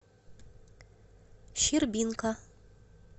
щербинка